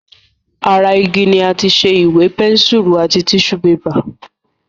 Ara igi ni àti ṣe Ìwé, pẹ́nsùrù àti tíṣù bébà